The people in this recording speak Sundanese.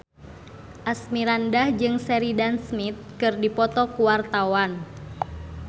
Asmirandah jeung Sheridan Smith keur dipoto ku wartawan